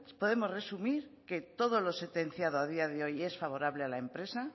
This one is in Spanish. podemos resumir que todo lo sentenciado a día de hoy es favorable a la empresa